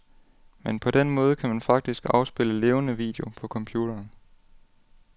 Men på den måde kan man faktisk afspille levende video på computeren.